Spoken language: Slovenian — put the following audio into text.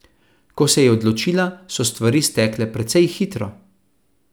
Ko se je odločila, so stvari stekle precej hitro.